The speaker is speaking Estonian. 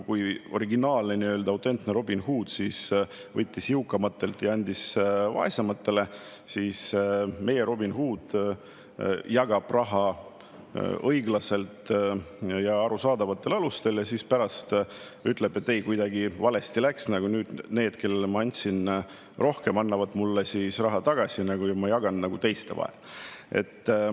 Kui originaalne, autentne Robin Hood võttis jõukamatelt ja andis vaesematele, siis meie Robin Hood jagab raha õiglaselt ja arusaadavatel alustel, aga pärast ütleb, et ei, kuidagi valesti läks, ja need, kellele ma andsin rohkem, annavad mulle raha tagasi ja ma jagan selle teiste vahel.